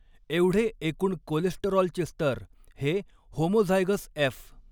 एवढे एकूण कोलेस्टेरॉलचे स्तर हे होमोझायगस एफ.